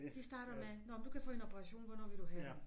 De starter med nåh men du kan få en operation hvornår vil du have det